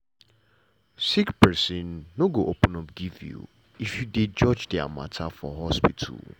sick pesin no go open up give you if you dey judge dia mata for hospital.